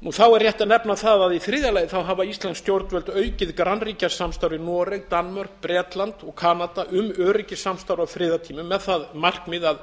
þá er rétt að nefna það að í þriðja lagi hafa íslensk stjórnvöld aukið grannríkjasamstarf við noreg danmörk bretland og kanada um öryggissamstarf á friðartímum með það markmið að